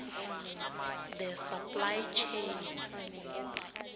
the supply chain